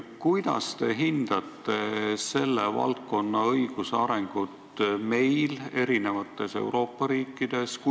Kuidas te hindate selle valdkonna õiguse arengut eri Euroopa riikides?